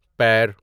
پیر